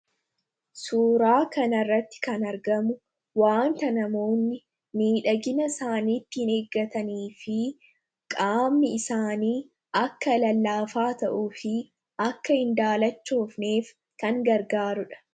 Suuraa kanarratti kan argamu wanta namoonni miidhagina isaaniittin eeggatanii fi qaammi isaanii akka lallaafaa ta'uu fi akka hin daalachoofneef kan gargaaruudha.